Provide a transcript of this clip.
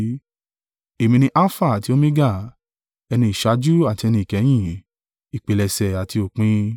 Èmi ni Alfa àti Omega, ẹni ìṣáájú àti ẹni ìkẹyìn, ìpilẹ̀ṣẹ̀ àti òpin.